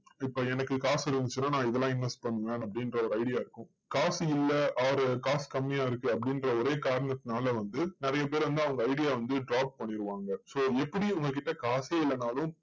இப்போ எனக்கு காசு இருந்துச்சுன்னா நான் இதெல்லாம் invest பண்ணுவேன் அப்படின்ற ஒரு idea இருக்கும். காசு இல்லை, or காசு கம்மியா இருக்கு அப்படின்ற ஒரே காரணத்தினால வந்து நிறைய பேர் வந்து அவங்க idea வந்து drop பண்ணிருவாங்க. so எப்படி உங்ககிட்ட காசே இல்லனாலும்,